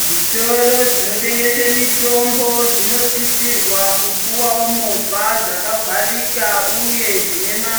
Zvitoro zvinotengese mitombo zvinosisirwa kupuwawo movha dzakavharika uye dzinema